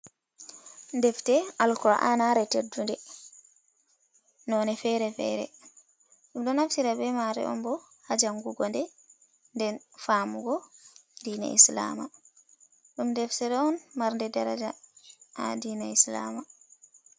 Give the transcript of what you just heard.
Defte alqur anare teddunde, none fere-fere ɗum ɗo naftira be mare on bo ha jangugo nden nden famugo dina islama, ɗum deftera on marnde daraja ha dina islama.